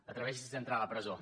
atreveixi’s a entrar a la presó